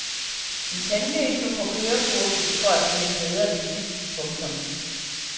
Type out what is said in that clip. En tandlæge tog på kørekursus for at blive en bedre bilist. punktum